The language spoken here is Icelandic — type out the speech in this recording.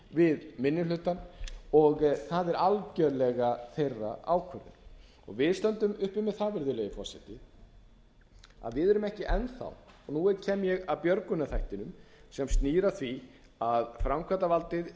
við minni hlutann og það er algjörlega þeirra ákvörðun við stöndum uppi með það virðulegi forseti að við erum ekki enn þá og nú kem ég að björgunarþættinum sem snýr að því að framkvæmdarvaldið